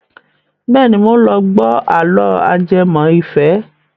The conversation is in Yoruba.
Bẹ́ẹ̀ni, mò ń lọ gbọ́ àlọ́ ajẹmọ́ ìfẹ́.